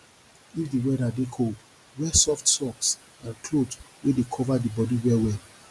if di weather dey cold wear soft socks and cloth wey dey cover bodi well well